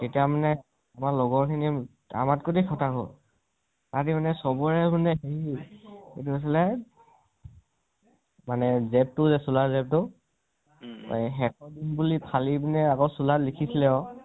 তেতিয়া মানে আমাৰ লগৰ খিনিয়ে আমাত্কৈ খতাখুৰ। আমি মানে চবৰে মানে এই তু আছিলে মানে তুৱে চোলা যিতু, সেইখন ফালি পিনি চোলাত লিখিছিলে আকৌ